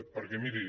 perquè miri